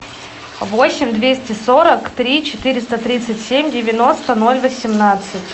восемь двести сорок три четыреста тридцать семь девяносто ноль восемнадцать